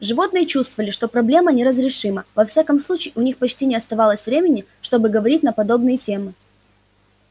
животные чувствовали что проблема неразрешима во всяком случае у них почти не оставалось времени чтобы говорить на подобные темы